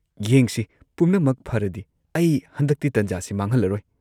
ꯌꯦꯡꯁꯤ ꯄꯨꯝꯅꯃꯛ ꯐꯔꯗꯤ, ꯑꯩ ꯍꯟꯗꯛꯇꯤ ꯇꯟꯖꯥꯁꯦ ꯃꯥꯡꯍꯜꯂꯔꯣꯏ꯫